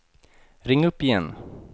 ring upp igen